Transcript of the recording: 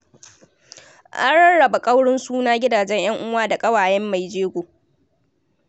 An rarraba ƙaurin suna gidajen ƴan'uwa da ƙawayen mai jego.